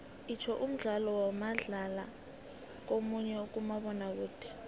itsho umdlalo wamadlaya munye kumabonakude